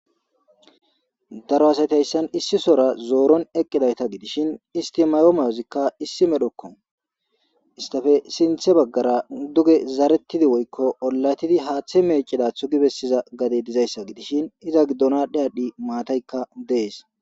daro asatayssan issi sora zooron eqqidayta gidishin istimayomayozikka issi medhokko istafe sinthe baggara duge zarettidi woykko ollatidi haaththe meeceda thu gi bessiza gade dizayssa gidishin iza giddonadhdhe adhdhi maataykka dees